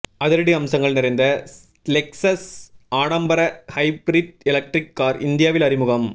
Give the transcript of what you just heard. அதிரடி அம்சங்கள் நிறைந்த லெக்சஸ் ஆடம்பர ஹைப்ரிட் எலெக்ட்ரிக் கார் இந்தியாவில் அறிமுகம்